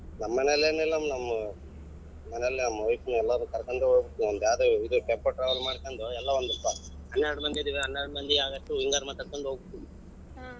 ನಮ್ಮನೇಲಿ ಏನಿಲ್ಲ ನಮ್ಮು ಮನೇಲಿ ನಮ್ wife ನ ಎಲ್ಲಾರು ಕರ್ಕೊಂಡ್ ಹೋಗತಿವಿ ಅದೇ ಇದು tempo travel ಮಾಡಕೊಂಡ್ ಎಲ್ಲಾ ಒಂದ್ ಹೆನ್ನೆರಡ್ ಮಂದಿ ಇದ್ದೀವಿ ಹೆನ್ನೆರಡ್ ಮಂದಿ ಆಗಷ್ಟು ಎಲ್ಲಾರನ್ನ ಕರಕೊಂಡು ಹೋಗತಿವಿ.